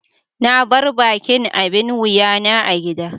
na bar ɓaƙin abin wuƴa na a giɗa.